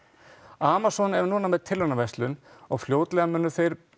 Amazon er núna með tilraunaverslun og fljótlega munu þeir